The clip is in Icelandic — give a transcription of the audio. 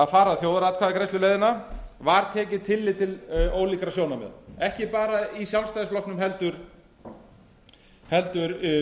fara þjóðaratkvæðagreiðsluleiðina var tekið tillit til ólíkra sjónarmiða ekki bara í sjálfstæðisflokknum heldur